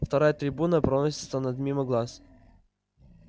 вторая трибуна проносится над мимо глаз